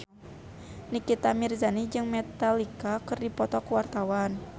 Nikita Mirzani jeung Metallica keur dipoto ku wartawan